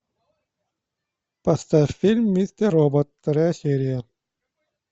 поставь фильм мистер робот вторая серия